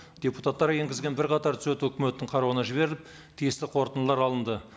депутаттар енгізген бірқатар түзету өкіметтің қарауына жіберіліп тиісті қорытындылар алынды